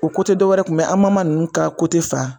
O kun bɛ yen an ninnu ka fan.